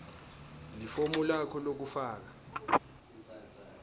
lifomu lakho lekufaka